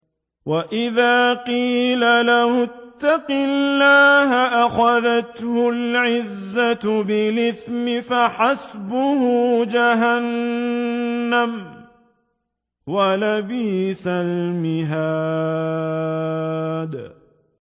وَإِذَا قِيلَ لَهُ اتَّقِ اللَّهَ أَخَذَتْهُ الْعِزَّةُ بِالْإِثْمِ ۚ فَحَسْبُهُ جَهَنَّمُ ۚ وَلَبِئْسَ الْمِهَادُ